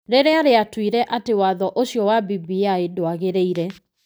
Rĩrĩa rĩatuire atĩ watho ũcio wa BBI ndwagĩrĩire.